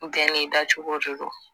Bɛɛ n'i da cogo de don